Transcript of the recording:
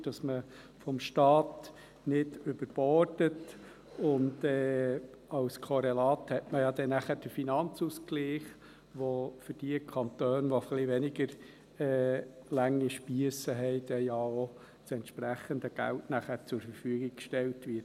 Es wird garantiert, dass man vom Staat her nicht überbordet, und als Korrelat hat man ja nachher den Finanzausgleich, mit dem für die Kantone, die etwas weniger lange Spiesse haben, dann das entsprechende Geld zur Verfügung gestellt wird.